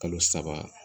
Kalo saba